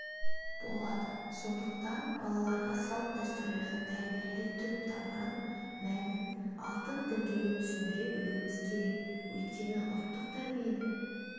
болады сондықтан балаларға салт-дәстүрлердің тәрбиелік түп-тамырын мәнін алтын діңгегін түсіндіре білуіміз керек өйткені ұлттық тәрбиенің